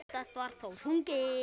Oftast var þó sungið.